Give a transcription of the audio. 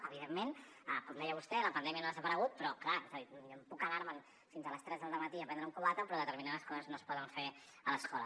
evidentment com deia vostè la pandèmia no ha desaparegut però clar és a dir jo puc anar me’n fins a les tres del matí a prendre un cubata però determinades coses no es poden fer a l’escola